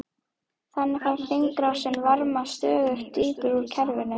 Þannig fær hringrásin varma stöðugt dýpra úr kerfinu.